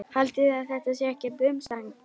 Haldiði að þetta sé ekkert umstang?